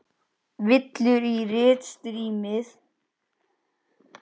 Villur í ritsmíð bæta má.